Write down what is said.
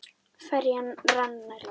Ferjan rann nær landi.